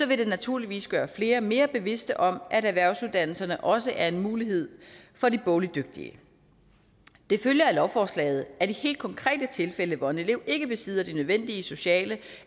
vil det naturligvis gøre flere mere bevidst om at erhvervsuddannelserne også er en mulighed for de bogligt dygtige det følger af lovforslaget at i helt konkrete tilfælde hvor en elev ikke besidder de nødvendige sociale